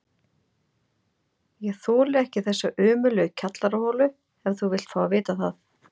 Ég þoli ekki þessa ömurlegu kjallaraholu ef þú vilt fá að vita það!